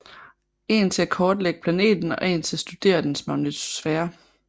En til at kortlægge planeten og en til at studere dens magnetosfære